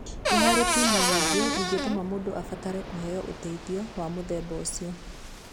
Nĩ harĩ itũmi nyingĩ ingĩtũma mũndũ abatare kũheo ũteithio wa mũthemba ũcio.